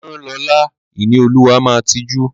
Rán Lọla! Ìníolúwa máa tijú.